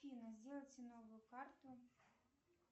афина сделайте новую карту